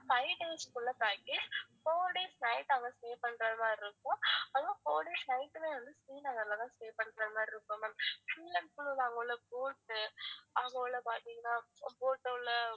five days உள்ள ஒரு package four days night அங்க stay பண்ற மாதிரி இருக்கும் அதுவும் four days night ல இருந்து ஸ்ரீநகர்ல தான் stay பண்ற மாதிரி இருக்கும் ma'am full and full அங்க உள்ள boat அங்க உள்ள பாத்திங்கனா boat ல உள்ள